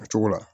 O cogo la